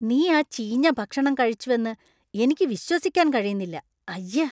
നീ ആ ചീഞ്ഞ ഭക്ഷണം കഴിച്ചുവെന്ന് എനിക്ക് വിശ്വസിക്കാൻ കഴിയുന്നില്ല. അയ്യ !